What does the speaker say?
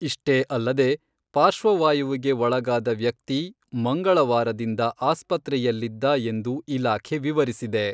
ಇಷ್ಟೆ ಅಲ್ಲದೇ ಪಾರ್ಶ್ವವಾಯುವಿಗೆ ಒಳಗಾದ ವ್ಯಕ್ತಿ ಮಂಗಳವಾರದಿಂದ ಆಸ್ಪತ್ರೆಯಲ್ಲಿದ್ದ ಎಂದು ಇಲಾಖೆ ವಿವರಿಸಿದೆ.